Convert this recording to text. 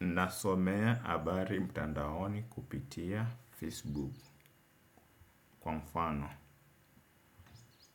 Nasomea abari mtandaoni kupitia Facebook kwa mfano.